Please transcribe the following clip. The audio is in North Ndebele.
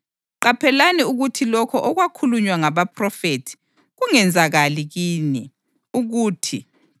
Qaphelani ukuthi lokho okwakhulunywa ngabaphrofethi kungenzakali kini, ukuthi: